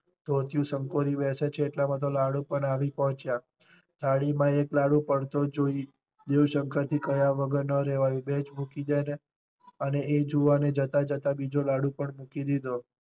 ધોતિયું સંકોરી બેસે છે એટલા માં તો લાડુ પણ આવી પહોંચ્યા. થાળી માં એક લાડુ પડતો જોઈ દેવ શંકર થી કહ્યા વગર ન રહેવાયું બે જ મૂકી દે ને અને એ જુવાને જતાં જતાં બીજો લાડુ પણ મૂકી દીધો.